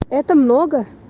это много